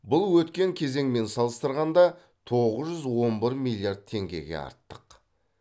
бұл өткен кезеңмен салыстырғанда тоғыз жүз он бір миллиард теңгеге артық